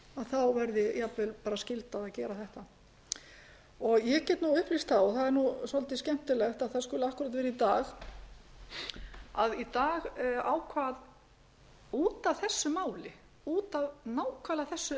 þá verði jafnvel skylda að gera þetta ég get upplýst og það er svolítið skemmtilegt að það skuli akkúrat vera í dag að í dag ákvað út af þessu máli út af nákvæmlega